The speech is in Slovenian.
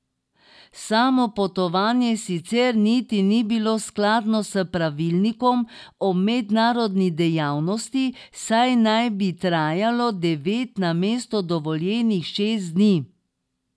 Samo potovanje sicer niti ni bilo skladno s pravilnikom o mednarodni dejavnosti, saj naj bi trajalo devet namesto dovoljenih šest dni.